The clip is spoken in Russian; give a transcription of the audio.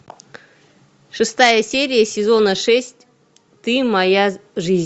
шестая серия сезона шесть ты моя жизнь